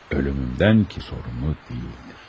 Ölümümdən ki sorumlu deyildir.